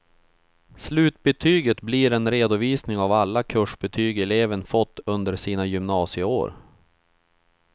Slutbetyget blir en redovisning av alla kursbetyg eleven fått under sina gymnasieår.